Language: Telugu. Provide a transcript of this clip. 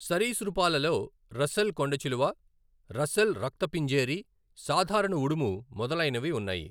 సరీసృపాలలో రస్సెల్ కొండచిలువ, రస్సెల్ రక్త పింజేరి, సాధారణ ఉడుము మొదలైనవి ఉన్నాయి.